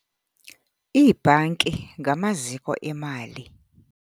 Iibhanki ngamaziko emali.